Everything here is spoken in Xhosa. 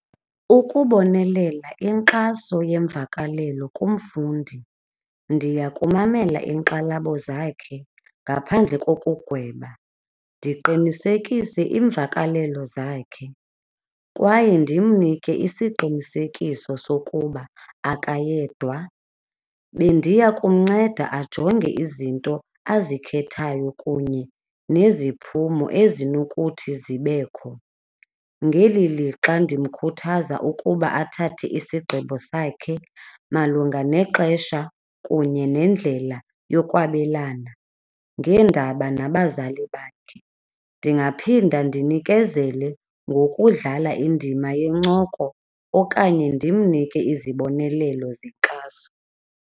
Ukubonelela inkxaso yemvakalelo kumfundi, ndiya kumamela iinkxalabo zakhe ngaphandle kokugweba ndiqinisekise iimvakalelo zakhe kwaye ndimnike isiqinisekiso sokuba akayedwa. Bendiya kumnceda ajonge izinto azikhethayo kunye neziphumo ezinokuthi zibekho. Ngeli lixa, ndimkhuthaza ukuba athathe isigqibo sakhe malunga nexesha kunye nendlela yokwabelana ngeendaba abanabazali bakhe. Ndingaphinda ndinikezele ngokudlala indima yencoko okanye ndimnike izibonelelo zenkxaso.